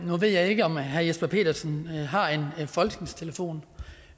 nu ved jeg ikke om herre jesper petersen har en folketingstelefon